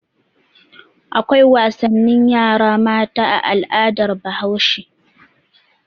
Akwai wasannin yara mata a al'adar Bahaushe.